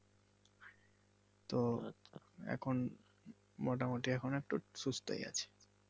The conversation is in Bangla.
তো এখন মোটামুটি এখন একটু সুস্থই আছে।